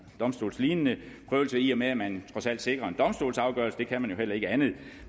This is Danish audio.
domstolslignende prøvelse i og med at man trods alt sikrer en domstolsafgørelse man kan jo heller ikke andet